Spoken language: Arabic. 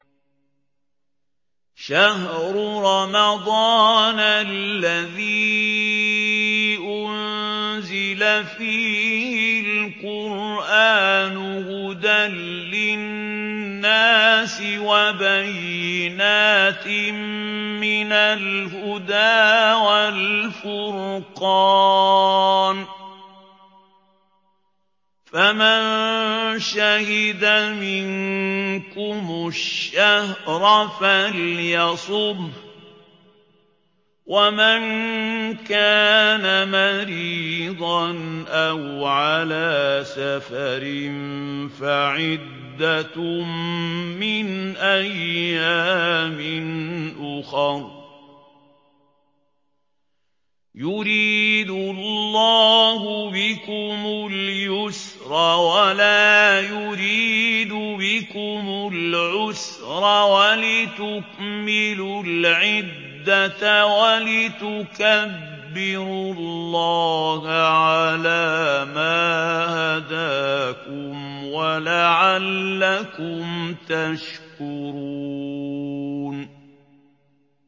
شَهْرُ رَمَضَانَ الَّذِي أُنزِلَ فِيهِ الْقُرْآنُ هُدًى لِّلنَّاسِ وَبَيِّنَاتٍ مِّنَ الْهُدَىٰ وَالْفُرْقَانِ ۚ فَمَن شَهِدَ مِنكُمُ الشَّهْرَ فَلْيَصُمْهُ ۖ وَمَن كَانَ مَرِيضًا أَوْ عَلَىٰ سَفَرٍ فَعِدَّةٌ مِّنْ أَيَّامٍ أُخَرَ ۗ يُرِيدُ اللَّهُ بِكُمُ الْيُسْرَ وَلَا يُرِيدُ بِكُمُ الْعُسْرَ وَلِتُكْمِلُوا الْعِدَّةَ وَلِتُكَبِّرُوا اللَّهَ عَلَىٰ مَا هَدَاكُمْ وَلَعَلَّكُمْ تَشْكُرُونَ